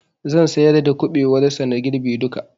Zan siyar da kuɓewar sa na girbe duka